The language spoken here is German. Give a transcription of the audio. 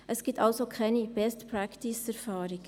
Es gibt also keine Best-Practice-Erfahrungen.